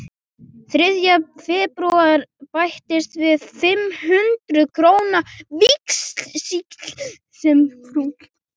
Þriðja febrúar bættist við fimm hundruð króna víxill sem frú